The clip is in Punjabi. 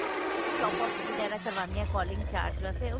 top up ਵਗੇਰਾ ਕਰਵਾਉਣੇ ਹਾਂ calling charge ਵਾਸਤੇ